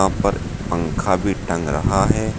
पर पंखा भी टंग रहा है।